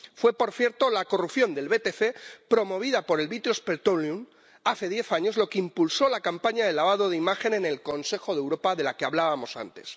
Fue, por cierto, la corrupción del BTC, promovida por British Petroleum, hace diez años, la que impulsó la campaña de lavado de imagen en el Consejo de Europa de la que hablábamos antes.